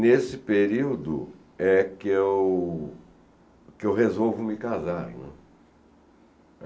Nesse período é que eu que eu resolvo me casar, né.